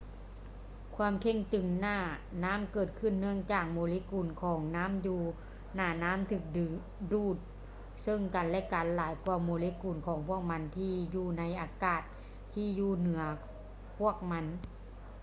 ຄວາມເຄັ່ງຕຶງໜ້ານ້ຳເກີດຂຶ້ນເນື່ອງຈາກໂມເລກຸນຂອງນໍ້າຢູໜ້ານໍ້າຖືກດຶງດູດເຊິ່ງກັນ ແລະ ກັນຫຼາຍກ່ວາໂມເລກຸນຂອງພວກມັນທີ່ຢູ່ໃນອາກາດທີ່ຢູ່ເໜືອພວກມັນ